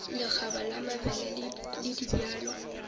lekgaba la mabele le dibjalo